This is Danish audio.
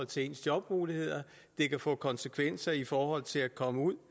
til ens jobmuligheder det kan få konsekvenser i forhold til at komme ud